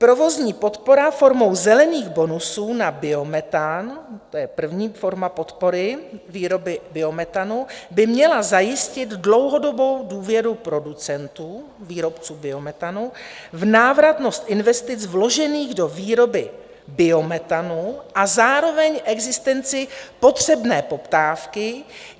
Provozní podpora formou zelených bonusů na biometan, to je první forma podpory výroby biometanu, by měla zajistit dlouhodobou důvěru producentů, výrobců biometanu, v návratnost investic vložených do výroby biometanu a zároveň existenci potřebné poptávky.